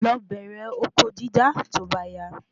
Lo bẹrẹ oko dídá to ba ya